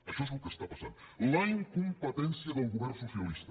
això és el que està passant la incompetència del govern socialista